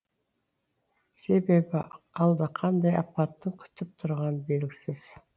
себебі алда қандай апаттың күтіп тұрғаны белгісіз